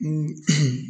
Ko